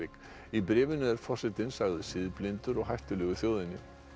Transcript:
í bréfinu er forsetinn sagður siðblindur og hættulegur þjóðinni